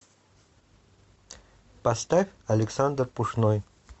поставь александр пушной